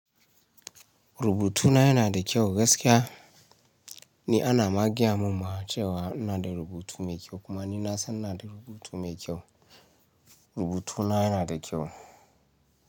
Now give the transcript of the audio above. Rubutuna yana da kyau gaskiya. Ni ana ma gaya mun ma cewa ina da rubutu mai kyau kuma ni na san ina da rubutu mai kyau. Rubutuna yana da kyau.